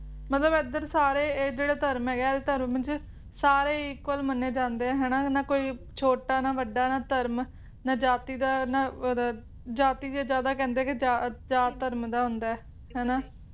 ਮਤਲਬ ਏਧਰ ਸਾਰੇ ਇਹ ਇਹ ਜਿਹੜਾ ਧਰਮ ਹੈਗਾ ਇਹ ਧਰਮ ਚ ਸਾਰੇ equal ਮੰਨੇ ਜਾਂਦੇ ਹਨਾ ਨਾ ਕੋਈ ਛੋਟਾ ਨਾ ਵੱਡਾ ਨਾ ਧਰਮ ਨਾ ਜਾਤੀ ਦਾ ਨਾ ਅਹ ਇਹਦਾ ਜਾਤੀ ਦਾ ਜ਼ਿਆਦਾ ਕਹਿੰਦੇ ਜਾਂ ਧਰਮ ਦਾ ਹੁੰਦਾ ਨਹੀਂ